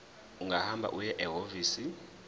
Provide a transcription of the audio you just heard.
ungahamba uye ehhovisi